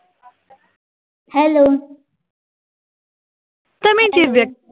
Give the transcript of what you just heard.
hello